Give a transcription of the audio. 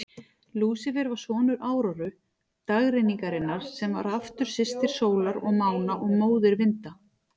Lúsífer var sonur Áróru, dagrenningarinnar, sem var aftur systir sólar og mána og móðir vinda.